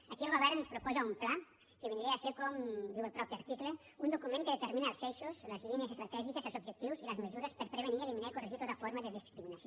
aquí el govern ens proposa un pla que vindria a ser com diu el mateix article un document que determina els eixos les línies estratègiques els objectius i les mesures per prevenir eliminar i corregir tota forma de discriminació